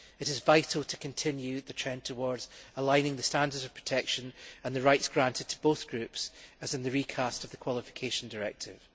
It is vital to continue the trend towards aligning the standards of protection and the rights granted to both groups, as in the recasting of the Qualification Directive.